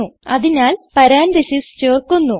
അതിനാൽ പരാൻതീസിസ് ചേർക്കുന്നു